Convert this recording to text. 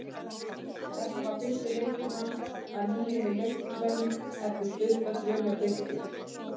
Þetta var fyrsti leikur hans að nýju með Leiknismönnum eftir stutta dvöl hjá Fylki.